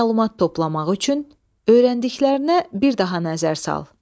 Məlumat toplamaq üçün öyrəndiklərinə bir daha nəzər sal.